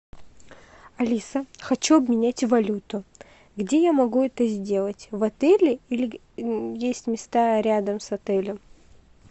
алиса хочу обменять валюту где я могу это сделать в отеле или есть места рядом с отелем